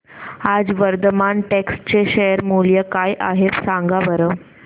आज वर्धमान टेक्स्ट चे शेअर मूल्य काय आहे सांगा बरं